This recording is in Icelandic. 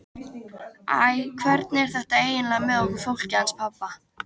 Æ, hvernig er þetta eiginlega með okkur fólkið hans pabba?